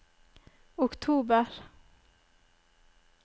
oktober